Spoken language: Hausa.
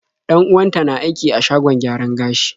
Dan-uwanta na aiki a shagon gyaran gashi.